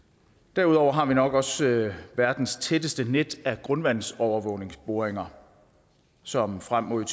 derudover har vi nok også verdens tætteste net af grundvandsovervågningsboringer som frem mod